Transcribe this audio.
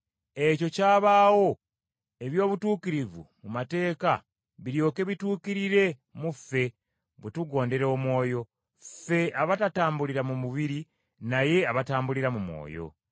Ekyo kyabaawo, eby’obutuukirivu mu mateeka biryoke bituukirire mu ffe bwe tugondera Omwoyo, ffe abatatambulira mu mubiri naye abatambulira mu Mwoyo.